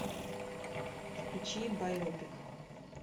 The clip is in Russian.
включи байопик